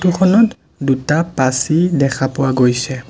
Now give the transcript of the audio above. খনত দুটা পাচি দেখা পোৱা গৈছে।